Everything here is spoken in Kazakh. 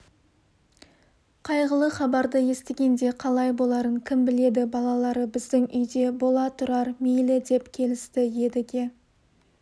қайғылы хабарды естігенде қалай боларын кім біледі балалары біздің үйде бола тұрар мейлі деп келісті едіге